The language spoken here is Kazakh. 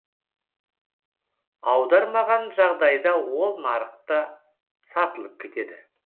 аудармаған жағдайда ол нарықта сатылып кетеді